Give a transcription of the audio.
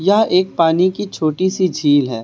यह एक पानी की छोटी सी झील है।